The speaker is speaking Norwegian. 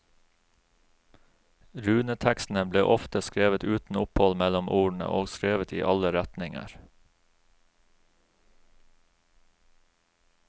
Runetekstene ble ofte skrevet uten opphold mellom ordene og skrevet i alle retninger.